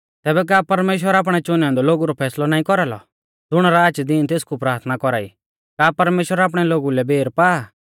तैबै का परमेश्‍वर आपणै च़ुनै औन्दै लोगु रौ फैसलौ नाईं कौरालौ ज़ुण राच दीन तेसकु प्राथना कौरा ई का परमेश्‍वर आपणै लोगु लै बेर पा